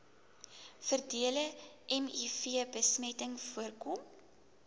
verdere mivbesmetting voorkom